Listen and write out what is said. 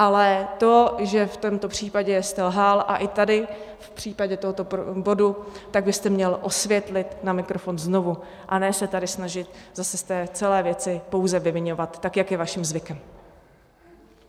Ale to, že v tomto případě jste lhal, a i tady v případě tohoto bodu, tak byste měl osvětlit na mikrofon znovu, a ne se tady snažit zase z té celé věci pouze vyviňovat, tak jak je vaším zvykem.